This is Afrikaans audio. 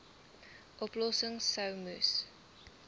oplossings sou moes